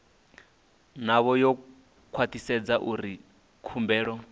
navho u khwathisedza uri khumbelo